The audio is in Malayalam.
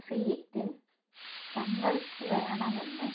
സീറ്റ് തങ്ങള്ക്ക് വേണമെന്ന്